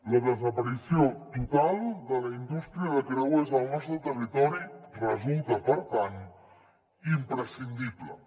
la desaparició total de la indústria de creuers al nostre territori resulta per tant imprescindible